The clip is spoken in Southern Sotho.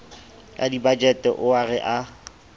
a dibajete ao re a